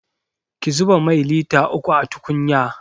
Ki zuba mai lita uku a tukunya!